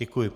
Děkuji.